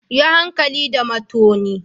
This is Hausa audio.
Yi hankali da matoni.